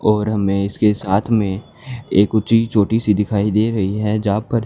और हमें इसके साथ में एक ऊंची चोटी सी दिखाई दे रही है यहां पर--